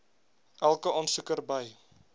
elke aansoeker by